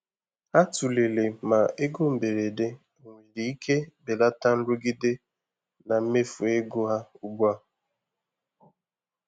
Ha tụlere ma ego mberede onwere ike belata nrụgide na mmefu ego ha ugbu a.